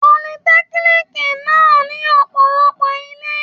Politẹ́kíníìkì náà ní ọ̀pọ̀lọpọ̀ ilé.